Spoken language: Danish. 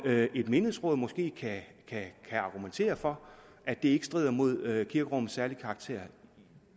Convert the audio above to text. et menighedsråd måske kan argumentere for at det ikke strider imod kirkerummets særlige karakter